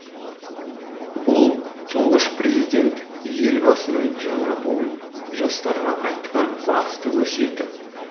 бұл тұңғыш президент елбасының жаңа буын жастарға айтқан басты өсиеті